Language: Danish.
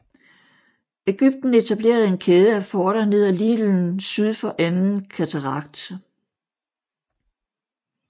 Egypten etablerede en kæde af forter ned ad Nilen syd for Anden Katarakt